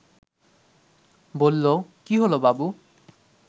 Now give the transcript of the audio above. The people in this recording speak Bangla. বলল, কী হলো বাবু